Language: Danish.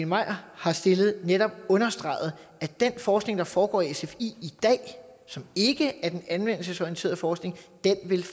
maier har stillet netop understreget at den forskning der foregår i sfi i dag og som ikke er den anvendelsesorienterede forskning